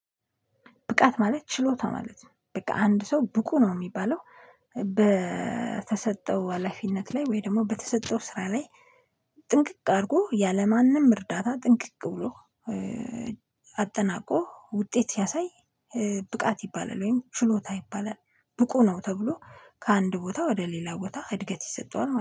ብቃት ማለት ችሎታ ማለት ነው በቃ አንድ ሰው ብቁ ነው የሚባለው። በተሰጠው ሀላፊነት ላይ ወይ ደግሞ በተሰጠው ስራ ላይ ጥንቅቅ አድርጎ ያለማንም እርዳታ ጥንቅቅ ብሎ አጠናቆ ውጤት ሲያሳይ። ብቃት ይባላል ወይም ችሎታ ይባላል ብቁ ነው። ተብሎ ከአንድ ቦታ ወደ ሌላ ቦታ እድገት ይሰጠዋል